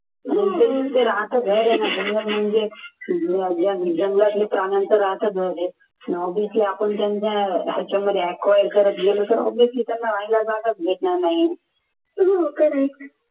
जंगल म्हणजे जंगलातील प्राण्यांचा राहतं घर आहे obviously आपण त्यांच्या ह्याच्यामध्ये acquire करत गेलो तर त्यांना राहायला जागा च भेटणार नाही